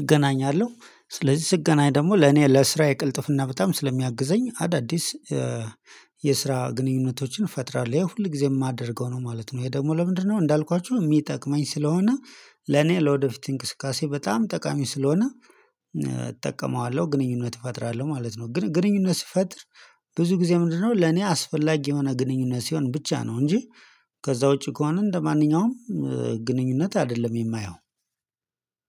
እገናኛለሁ ስለዚህ ስገናኝ ደግሞ ለኔ ለስራዬ ቅልጥፍና በጣም ስለሚያግዘኝ አዳዲስ የስራ ግንኙነቶችን እፈጥራለሁ ያው ሁል ጊዜ የማደርገው ነው ማለት ነው። ይሄ ደግሞ ለምንድነው እንዳልኳችሁ የሚጠቅመኝ ስለሆነ ለኔ ለወደፊት እንቅስቃሴ በጣም ጠቃሚ ስለሆነ እጠቀመዋለሁ ግንኙነት እፈጥራለሁ ማለት ነው። ግን ግንኙነት ስፈጥር ብዙ ጊዜ ምንድነው ለኔ አስፈላጊ የሆነ ግንኙነት ሲሆን ብቻ ነው እንጂ ከዛ ውጪ ከሆነ እንደማንኛውም ግንኙነት አይደለም የማየው።